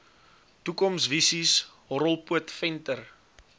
toekomsvisies horrelpoot venter